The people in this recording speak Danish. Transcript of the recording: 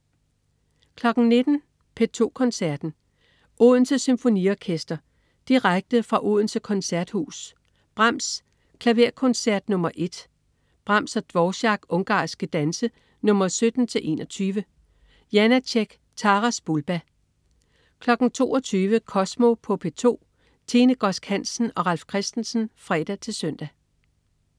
19.00 P2 Koncerten. Odense Symfoniorekster. Direkte fra Odense Koncerthus. Brahms: Klaverkoncert nr. 1. Brahms/Dvorák: Ungarske danse nr. 17-21. Janácek: Taras Bulba 22.00 Kosmo på P2. Tine Godsk Hansen og Ralf Christensen (fre-søn)